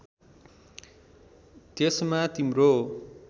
त्यसमा तिम्रो